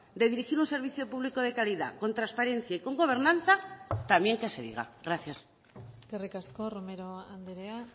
de dirigir un servicio público de calidad con transparencia y con gobernanza también que se diga gracias eskerrik asko romero andrea